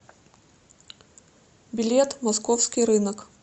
билет московский рынок